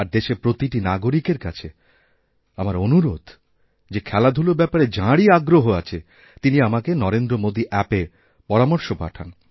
আর দেশের প্রতিটি নাগরিকের কাছে আমার অনুরোধ যে খেলাধূলারব্যাপারে যাঁরই আগ্রহ আছে তিনি আমাকে নরেন্দ্র মোদী অ্যাপএ পরামর্শ পাঠান